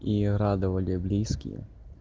и радовали близкие